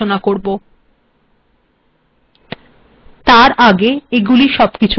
এরপর আমরা েমট্িরক্স্ িবষযে় আলোচনা করব